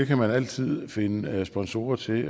kan man altid finde sponsorer til